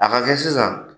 A ka kɛ sisan